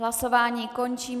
Hlasování končím.